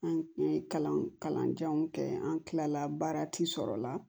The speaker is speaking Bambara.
An ye kalan kalan janw kɛ an kila la baara ti sɔrɔ la